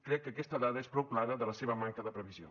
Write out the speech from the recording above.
crec que aquesta dada és prou clara de la seva manca de previsió